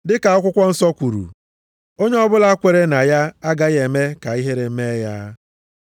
Dịka akwụkwọ nsọ kwuru, “Onye ọbụla kweere na ya, agaghị eme ka ihere mee ya.” + 10:11 \+xt Aịz 28:16\+xt*